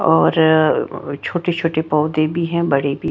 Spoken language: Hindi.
और छोटे छोटे पौधे भी है बड़े भी--